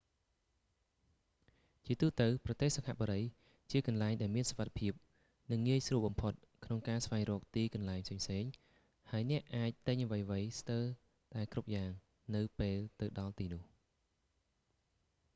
ជាទូទៅ ប្រទេសសិង្ហបុរីជាកន្លែងដែលមានសុវត្ថិភាព និងងាយស្រួលបំផុតក្នុងការស្វែងរកទីកន្លែងផ្សេងៗ ហើយអ្នកអាចទិញអ្វីៗស្ទើរតែគ្រប់យ៉ាង នៅពេលទៅដល់ទីនោះ